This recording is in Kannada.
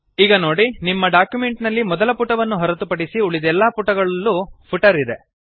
ಈಗ ನೊಡಿ ನಿಮ್ಮ ಡಾಕ್ಯುಮೆಂಟ್ ನಲ್ಲಿ ಮೊದಲ ಪುಟವನ್ನು ಹೊರತುಪಡಿಸಿ ಉಳಿದೆಲ್ಲಾ ಪುಟಗಳಲ್ಲೂ ಫುಟರ್ ಇದೆ